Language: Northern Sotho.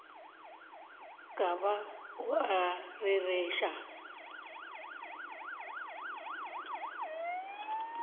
ka ba o a rereša